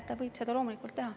Ta võib seda loomulikult teha.